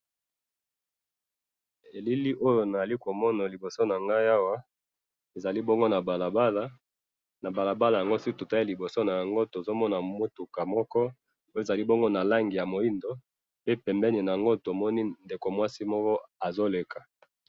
Na bililili oyo nazali komona awa, ezali bongo na balabala, na balabala na yango soki to tali liboso, ezali mutuka moko, tozali komona langi ya moindo, na pembeni na yango mwasi azali koleka.